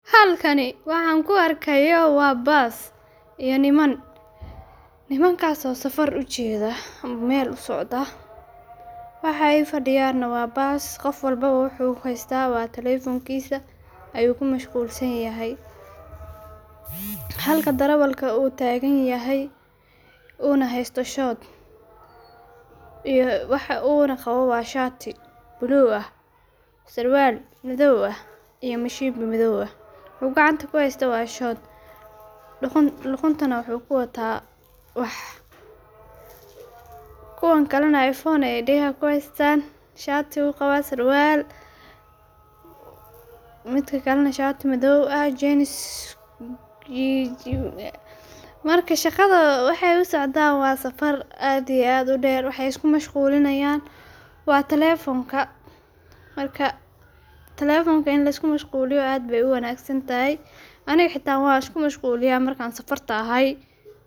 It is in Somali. Halkani waxan ku arkayo waa baas iyo niman, nimankaas oo safar u jeedha ama meel u socda, waxaay fadiyana waa baas qof walbo wuxuu haysta waa talefonkiisa ayuu ku mashquul san yahay, halka darawalka uu taagan yahay uu na haysto shoodh iyo wuxuu qawo na waa shaati blue aah, sarwaal madhow ah iyo mashimbi madhoow ah wuxuu gacanta ku haysto waa shoodh luqun tana wuxuu ku wataa waax. kuwan kale na earphone aay degaha ku haystan, shaati uu qawa sarwaal midka kale na shaati madhoow. Marka shaqadho waxaay u socdan waa safaar aad iyo aad u deer, maxaay is ku mashquulinayan waa talefonka marka talefonka in lisku mashquuliyo aad bay u wanagsan tahay.